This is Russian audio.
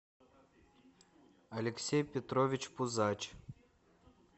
алексей петрович пузач